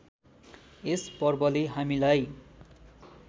यस पर्वले हामीलाई